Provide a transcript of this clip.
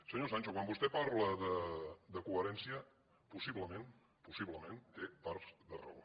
senyor sancho quan vostè parla de coherència possiblement possiblement té part de raó